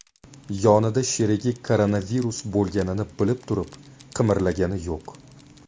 Yonida sherigi koronavirus bo‘lganini bilib turib, qimirlagani yo‘q.